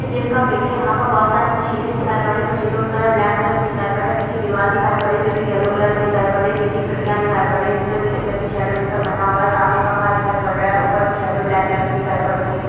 ये जिम का पिक है यहाँ पर बहुत सारी मशीन दिखाई पड़ रही है मशीनों पर ब्लैक कलर दिखाई पड़ रहा हैं पीछे दिवाल दिखाई पड़ रही हैं जो कि येलो कलर मे दिखाई पड़ रही है पीछे खिड़कियां दिखाई पड़ रही हैं जिसमे ग्रीन कलर की शैडो जैसा बना हुआ है सामने पंखा दिखाई पड़ रहा हैं ऊपर की शैडो ब्लैक कलर मे दिखाई पड़ रही हैं।